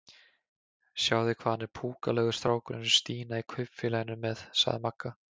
Sjáið þið hvað hann er púkalegur strákurinn sem Stína í Kaupfélaginu er með? sagði Magga.